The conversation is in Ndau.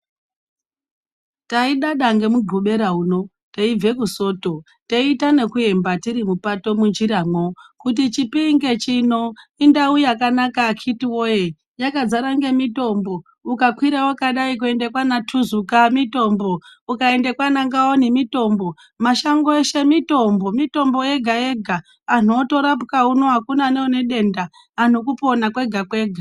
Taidada nemugobera uno teibve kusoto teita nekuemba tiri mupato munjiramwo. Kuti chipinge chino indau yakanaka akhiti voye yakazara ngemitombo ukakwira vakadai kuenda kwana Tuzuka mitombo. Ukaenda kwana Ngaoni mitombo mashango eshe mitombo, mitombo yega-yega antu otorapwa uno hakuna neanedenda antu kurapwa kwega-kwega.